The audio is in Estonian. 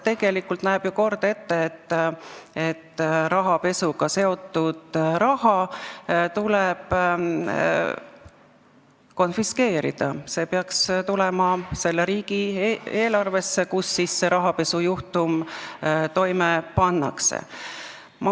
Tegelikult näeb ju kord ette, et rahapesuga seotud raha tuleb konfiskeerida, see peaks tulema selle riigi eelarvesse, kus see rahapesujuhtum toime on pandud.